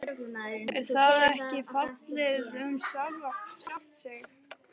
Er það ekki fallið um sjálft sig?